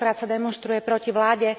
Tentokrát sa demonštruje proti vláde.